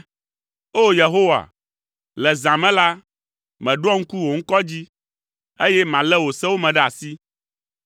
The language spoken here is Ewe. O! Yehowa, le zã me la, meɖoa ŋku wò ŋkɔ dzi, eye malé wò sewo me ɖe asi.